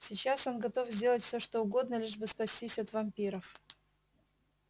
сейчас он готов сделать всё что угодно лишь бы спастись от вампиров